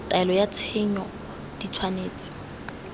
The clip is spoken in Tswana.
taelo ya tshenyo di tshwanetse